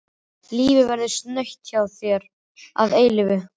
Lífið verður snautt hjá þér að eilífu.